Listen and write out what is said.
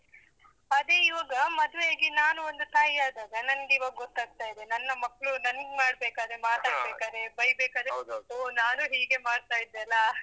ಅದೇ ಇವಾಗ ಮದುವೆ ಆಗಿ ನಾನೂ ಒಂದು ತಾಯಿಯಾದಾಗ, ನನ್ಗೆ ಇವಾಗ್ ಗೊತ್ತಾಗ್ತಾ ಇದೆ. ನನ್ನ ಮಕ್ಳು ನಂಗ್ ಮಾಡ್ಬೇಕಾದ್ರೆ, ಮಾತಾಡ್ಬೇಕಾದ್ರೆ ಬೈಬೇಕಾದ್ರೆ ಹೋ, ನಾನೂ ಹೀಗೇ ಮಾಡ್ತಾ ಇದ್ದೆ ಅಲಾ?